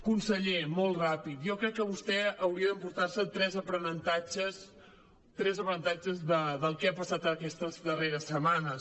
conseller molt ràpid jo crec que vostè hauria d’emportar se tres aprenentatges del que ha passat aquestes darreres setmanes